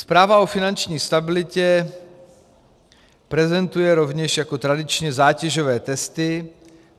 Zpráva o finanční stabilitě prezentuje rovněž jako tradičně zátěžové testy.